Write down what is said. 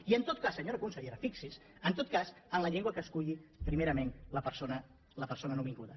i en tot cas senyora consellera fixi’s en tot cas en la llengua que esculli primerament la persona nouvinguda